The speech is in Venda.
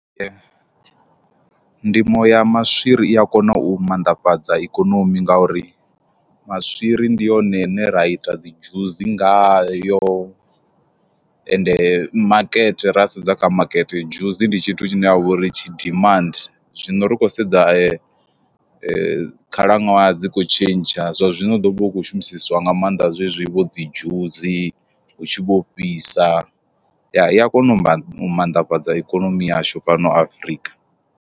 Ndimo ya maswiri i a kona u mannḓafhadza ikonomi ngauri maswiri ndi yone ine ra ita dzi dzhusi ngayo, ende makete ra sedza kha makete dzhusi ndi tshithu tshine tsha vhori tshi dimandi. Zwino ri khou sedza ee khalaṅwaha dzi kho tshentsha zwa zwino hu ḓo vha hu khou shumiseswa nga maanḓa zwezwi vho dzi dzhusi hu tshi vho fhisa ya i a kona u mannḓafhadza ikonomi yashu fhano Afrika.